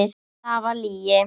Það var lygi.